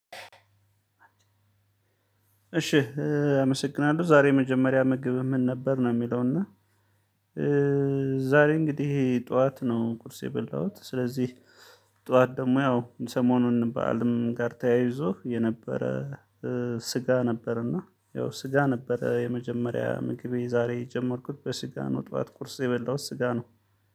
እሺ አመሰግናለሁ ዛሬ የመጀመሪያ ምግብ ምን ነበር ነው የሚለው? እና ዛሬ እንግዲህ ይሄ ጠዋት ነው ቁርስ የበላሁት። ስለዚህ ጠዋት ደግሞ ያው ሰሞኑን በዓልም ጋር ተያይዞ የነበረ። ስጋ ነበርና ያው ስጋ ነበረ የመጀመሪያ ምግቤ ዛሬ ጀመርኩት በስጋ ነው ጠዋት ቁርስ የበላሁት ስጋ ነው።